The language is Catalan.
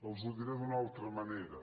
els ho diré d’una altra manera